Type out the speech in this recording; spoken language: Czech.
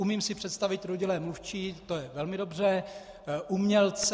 Umím si představit rodilé mluvčí, to je velmi dobře, umělce.